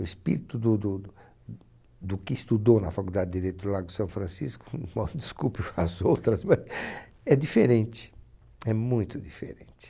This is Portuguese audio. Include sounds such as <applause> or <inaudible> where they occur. O espírito do do, do que estudou na Faculdade de Direito do Lago São Francisco, <laughs> desculpe as outras, é diferente, é muito diferente.